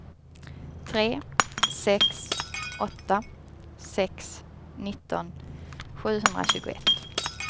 tre sex åtta sex nitton sjuhundratjugoett